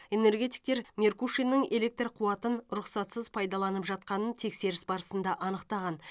энергетиктер меркушиннің электр қуатын рұқсатсыз пайдаланып жатқанын тексеріс барысында анықтаған